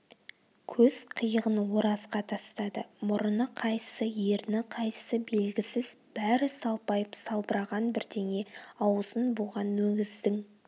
көз қиығын оразға тастады мұрыны қайсы ерні қайсы белгісіз бәрі салпайып салбыраған бірдеңе аузын буған өгіздің